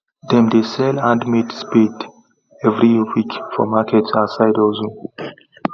them dey sell handmade spade every week for market as side hustle